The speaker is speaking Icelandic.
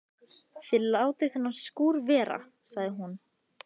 Þið látið þennan skúr vera sagði hún.